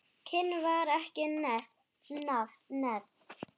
Kyn var ekki nefnt.